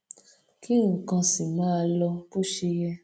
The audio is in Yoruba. kí nǹkan sì máa lọ bó ṣe yẹ